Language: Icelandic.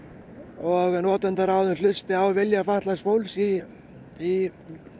og hlusti á vilja fatlaðs fólks í í